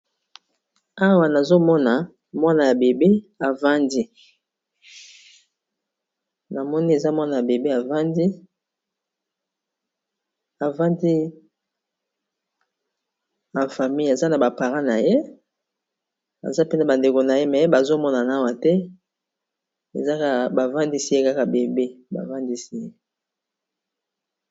Awa nazomona mwana ya bebe avandi, na moni eza mwana ya bebe avandi avandi afamil aza na bapara na ye aza mpena ba ndeko na ye me bazomona na awa te ezaka bavandisi ye kaka bebe bavandisi ye.